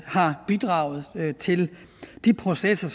har bidraget til de processer